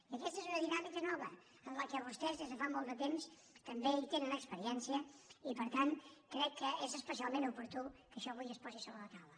i aquesta és una dinàmica nova en la qual vostès des de fa molt de temps també tenen experiència i per tant crec que és especialment oportú que això avui es posi sobre la taula